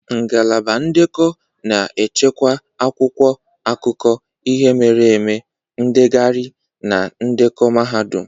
Ngalaba ndekọ na-echekwa akwụkwọ akụkọ ihe mere eme, ndegharị na ndekọ mahadum.